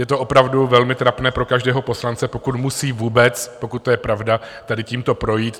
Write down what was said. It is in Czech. Je to opravdu velmi trapné pro každého poslance, pokud musí vůbec, pokud je to pravda, tady tímto projít.